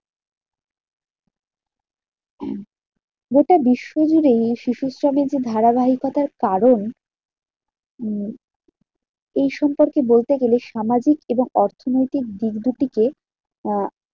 গোটা বিশ্বজুড়েই এই শিশুশ্রমের ধারাবাহিকতার কারণ, উম এই সম্পর্কে বলতে হলে সামাজিক এবং অর্থনৈতিক দিক দুটিকে আহ